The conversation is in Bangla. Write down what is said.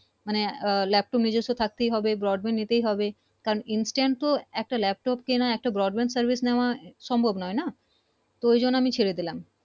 মানে আহ laptop নিজস্ব থাকতে হবে Broadband নিতে হবে কারন instant তো একটা laptop কেনা broad band service নেওয়া সম্ভব নয় না তো ওই জন্য আমি ছেড়ে দিলাম